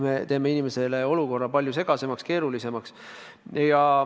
Me teeme inimesele olukorra palju segasemaks, keerulisemaks.